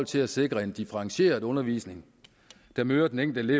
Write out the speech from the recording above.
til at sikre en differentieret undervisning der møder den enkelte